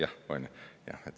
Jah, onju.